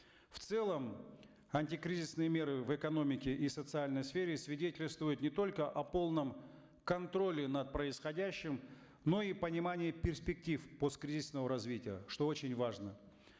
в целом антикризисные меры в экономике и социальной сфере свидетельствуют не только о полном контроле над происходящим но и понимании перспектив посткризисного развития что очень важно